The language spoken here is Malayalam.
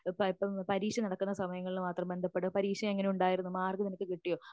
ഇപ്പോ പരീക്ഷ നടക്കുന്ന സമയങ്ങളിൽ മാത്രം ബന്ധപ്പെടും പരീക്ഷ നിനക്ക് എങ്ങനെ ഉണ്ടായിരുന്നു മാർക്ക് കിട്ടുയോ